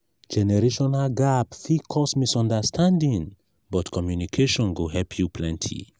generational gap fit cause misunderstanding but communication go help you plenty.